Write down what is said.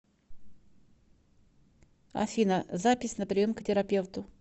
афина запись на прием к терапевту